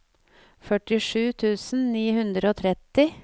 førtisju tusen ni hundre og tretti